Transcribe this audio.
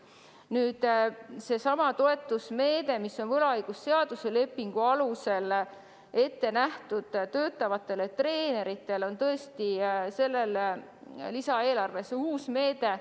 Nüüd, seesama toetusmeede, mis on ette nähtud võlaõigusliku lepingu alusel töötavatele treeneritele, on tõesti selles lisaeelarves uus meede.